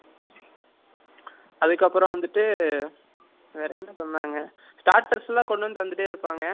அதுகப்பரம் வந்துட்டு வெர என்ன சொன்னாங்க starters எல்லாம் கொண்டுவந்து தன்டே இருபாங்க